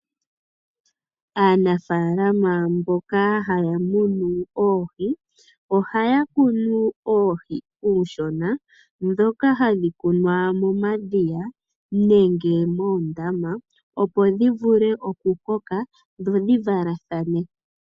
Aanafaalama mboka haya munu oohi, ohaya kunu uuhi uushona mboka hawu kunwa momadhiya nenge moondama opo dhi vule okukoka dho dhi valathane.